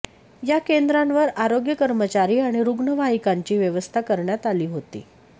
या केंद्रांवर आरोग्य कर्मचारी आणि रुग्णवाहिकांची व्यवस्था करण्यात आली होती